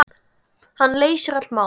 Hann leysir öll mál.